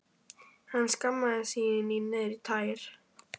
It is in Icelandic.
Hann skammaðist sín niður í tær.